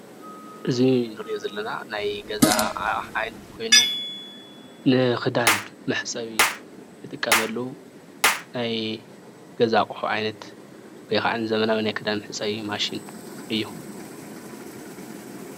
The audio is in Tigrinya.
እዚ ንሪኦ ዘለና ናይ ገዛ ዓይነት አቕሓ ኮይኑ ንክዳን መሕፀቢ ንጥቀመሉ ናይ ገዛ አቑሑ ዓይነት ወይ ካዓ ንዘመናዊ ናይ ክዳን መሕፀቢ ማሽን እዩ፡፡